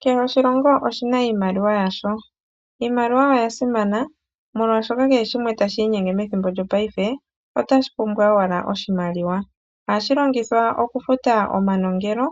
Kehe oshilongo oshi na iimaliwa yasho. Iimaliwa oya simana, molwashoka kehe shimwe tashi inyenge methimbo lyopaife, otashi pumbwa owala oshimaliwa. Ohashi longithwa okufuta omanongelo,